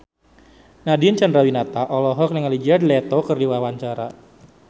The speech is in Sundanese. Nadine Chandrawinata olohok ningali Jared Leto keur diwawancara